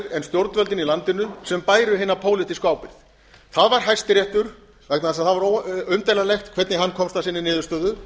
en stjórnvöldin í landinu sem bæru hina pólitísku ábyrgð það var hæstiréttur vegna þess að það var umdeilanlegt hvernig hann komst að sinni niðurstöðu